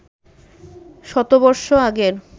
শতবর্ষ আগের